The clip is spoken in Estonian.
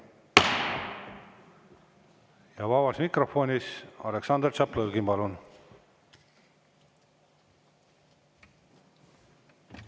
Ja vabas mikrofonis Aleksandr Tšaplõgin.